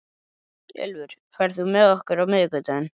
Ylfur, ferð þú með okkur á miðvikudaginn?